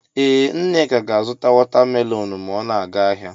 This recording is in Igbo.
Ee Nneka ga-azụta watamelonụ ma ọ ga ahịa